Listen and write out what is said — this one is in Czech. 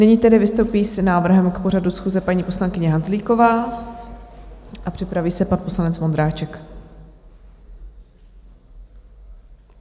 Nyní tedy vystoupí s návrhem k pořadu schůze paní poslankyně Hanzlíková a připraví se pan poslanec Vondráček.